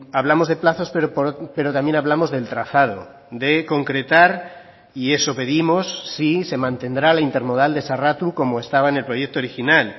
hablamos de plazos pero también hablamos del trazado de concretar y eso pedimos si se mantendrá la intermodal de sarratu como estaba en el proyecto original